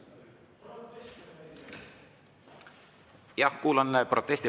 Jah, kuulan protesti.